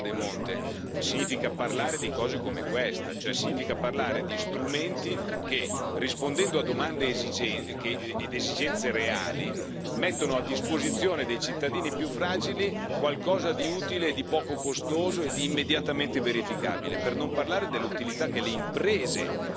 Parlare di Europa, come diceva la collega De Monte, significa parlare di cose come questa, cioè significa parlare di strumenti che, rispondendo a domande ed esigenze reali, mettono a disposizione dei cittadini più fragili qualcosa di utile e di poco costoso e di immediatamente verificabile.